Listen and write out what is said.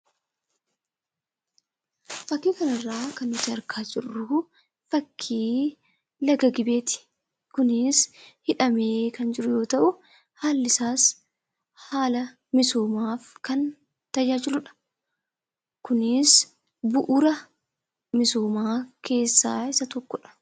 Fakkii kanarraa kan nuti argaa jirru fakkii laga Gibeeti. Kunis hidhamee kan jiru yoo ta'u, haalli isaas haala misoomaaf kan tajaajilu dha. Kunis bu'uura misoomaa keessaa isa tokko dha.